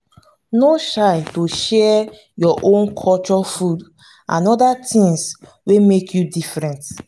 no shy to share your own culture food and and oda things wey make you different